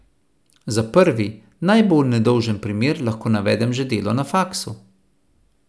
Za prvi, najbolj nedolžen primer lahko navedem že delo na faksu.